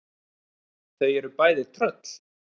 Þau eru bæði tröll.